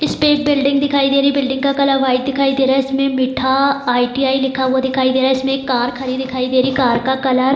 इसपे एक बिल्डिंग दिखाई दे रही है बिल्डिंग का कलर वाइट दिखाई दे रहा है। इसमें मीठा आईटीआई लिखा हुआ दिखाई दे रहा है। इसमें एक कार खड़ी दिखाई दे रही है। कार का कलर --